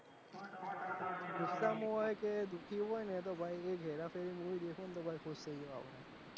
ગુસ્હેસામાં હોય કે દુઃખી હોય ને તો ભાઈ એ હેરા ફેરી દેખો તો ખુશ થઈ જો આપડે.